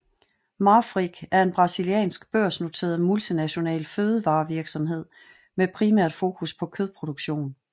Marfrig er en brasiliansk børsnoteret multinational fødevarevirksomhed med primært fokus på kødproduktion